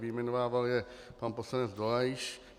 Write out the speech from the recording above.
Vyjmenovával je pan poslanec Dolejš.